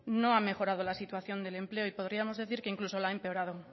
no ha mejorado la situación del empleo y podríamos decir incluso que la ha empeorado